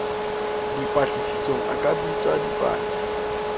dipatlisisong a ka bitsa dipaki